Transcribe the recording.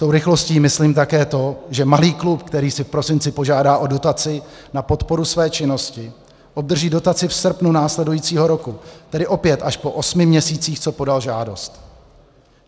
Tou rychlostí myslím také to, že malý klub, který si v prosinci požádá o dotaci na podporu své činnosti, obdrží dotaci v srpnu následujícího roku, tedy opět až po osmi měsících, co podal žádost.